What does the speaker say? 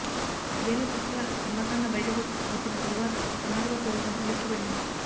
జైల్లో శశికళ కర్మకాండ బయటకు వచ్చిన తరువాత కర్ణాటక ప్రభుత్వం ఉలిక్కిపడింది